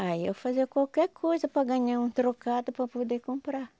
Ah, eu fazia qualquer coisa para ganhar um trocado para poder comprar.